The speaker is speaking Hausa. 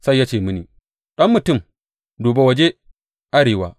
Sai ya ce mini, Ɗan mutum, duba waje arewa.